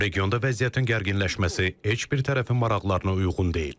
Regionda vəziyyətin gərginləşməsi heç bir tərəfin maraqlarına uyğun deyil.